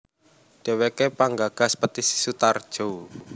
Dheweke penggagas Petisi Sutarjo